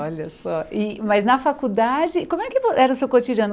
Olha só, e mas na faculdade, como é que era o seu cotidiano?